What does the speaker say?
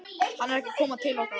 Hann er ekki að koma til okkar.